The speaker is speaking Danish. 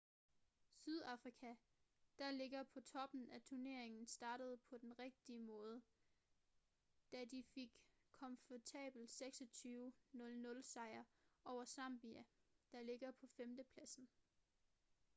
sydafrika der ligger på toppen i turneringen startede på den rigtige måde da de fik en komfortabel 26 00 sejr over zambia der ligger på 5. pladsen